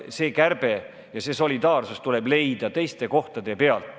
Kärpevõimalus ja solidaarsus tuleb leida mujal.